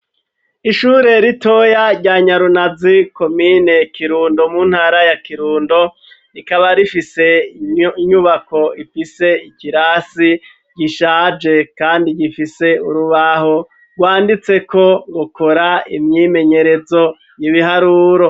Ishure ritoya rya Nyarunazi komine kirundo mu ntara ya kirundo , rikaba rifise inyubako ifise ikirasi gishaje kandi gifise urubaho rwanditseko ukora imyimenyerezo y'ibiharuro.